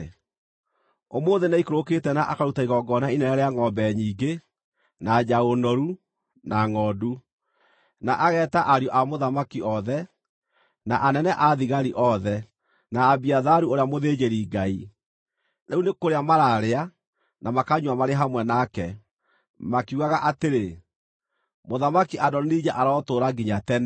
Ũmũthĩ nĩaikũrũkĩte na akaruta igongona inene rĩa ngʼombe nyingĩ, na njaũ noru, na ngʼondu. Na ageeta ariũ a mũthamaki othe, na anene a thigari othe, na Abiatharu ũrĩa mũthĩnjĩri-Ngai. Rĩu nĩ kũrĩa maraarĩa na makanyua marĩ hamwe nake, makiugaga atĩrĩ, ‘Mũthamaki Adonija arotũũra nginya tene!’